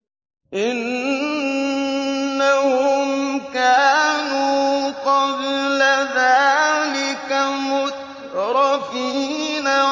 إِنَّهُمْ كَانُوا قَبْلَ ذَٰلِكَ مُتْرَفِينَ